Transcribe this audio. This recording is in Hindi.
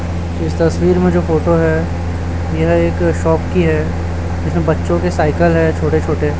इस तसवीर में जो फोटो है यहाँ एक शाॅप की है जिसमें बच्चों के साइकिल है छोटे छोटे।